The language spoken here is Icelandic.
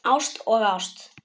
Ást og ást.